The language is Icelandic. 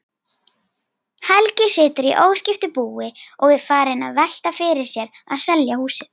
Helgi situr í óskiptu búi og er farinn að velta fyrir sér að selja húsið.